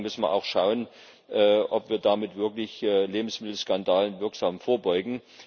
Vor allen Dingen müssen wir auch schauen, ob wir damit wirklich Lebensmittelskandalen wirksam vorbeugen.